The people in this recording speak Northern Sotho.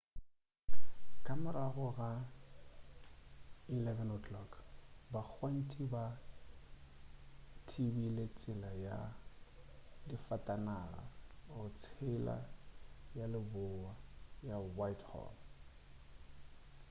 ka morago ga 11:00 bagwanti ba thibile tsela ya difatanaga go tsela ya lebowa ka whitehall